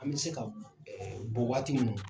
An mi se ka waati minnu